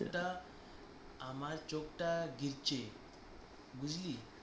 আমার চোখটা আমার চোখটা গেছে বুঝলি